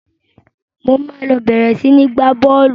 Mo máa lọ bẹ̀rẹ̀ sini gba bọ́ọ́lù